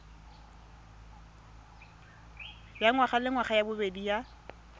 ya ngwagalengwaga ya bobedi ya